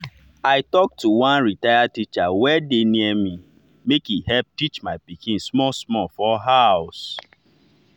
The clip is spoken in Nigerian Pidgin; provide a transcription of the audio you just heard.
i talk to one retired teacher wey dey near make e help teach my pikin small small for house.